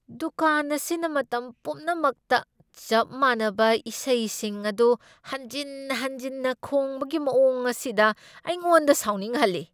ꯗꯨꯀꯥꯟ ꯑꯁꯤꯅ ꯃꯇꯝ ꯄꯨꯝꯅꯃꯛꯇ ꯆꯞ ꯃꯥꯟꯅꯕ ꯏꯁꯩꯁꯤꯡ ꯑꯗꯨ ꯍꯟꯖꯤꯟ ꯍꯟꯖꯤꯟꯅ ꯈꯣꯡꯕꯒꯤ ꯃꯑꯣꯡ ꯑꯁꯤꯅ ꯑꯩꯉꯣꯟꯗ ꯁꯥꯎꯅꯤꯡꯍꯜꯂꯤ꯫